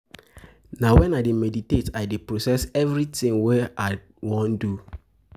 Meditation dey help me improve as I dey take concentrate.